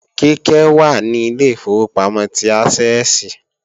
Kíkẹ́ wà ní Ilé ìfowópamọ́ ti Ásẹ́ẹ̀sì